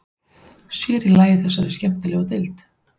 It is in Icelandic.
Sér í lagi í þessari skemmtilegu deild.